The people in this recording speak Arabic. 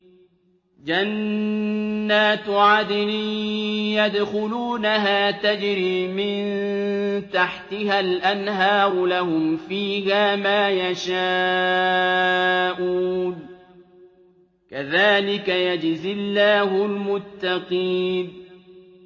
جَنَّاتُ عَدْنٍ يَدْخُلُونَهَا تَجْرِي مِن تَحْتِهَا الْأَنْهَارُ ۖ لَهُمْ فِيهَا مَا يَشَاءُونَ ۚ كَذَٰلِكَ يَجْزِي اللَّهُ الْمُتَّقِينَ